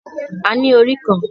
A ní orí kan